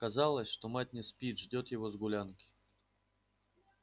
казалось что мать не спит ждёт его с гулянки